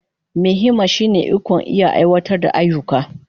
Mai himma shine ikon iya aiwatar da ayyuka.